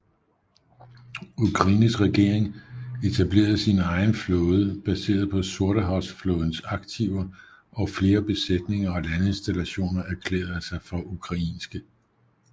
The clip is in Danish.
Ukraines regering etablerede sin egen flåde baseret på Sortehavsflådens aktiver og flere besætninger og landinstallationer erklærede sig for ukrainske